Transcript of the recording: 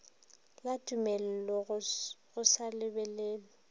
la tumello go sa lebellwe